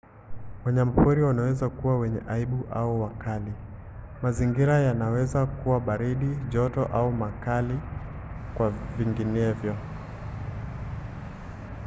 wanyamapori wanaweza kuwa wenye aibu au wakali. mazingira yanaweza kuwa baridi joto au makali kwa vinginevyo